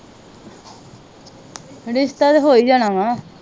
ਰਿਸ਼ਤਾ ਤੇ ਹੋ ਈ ਜਾਣਾ ਵਾ।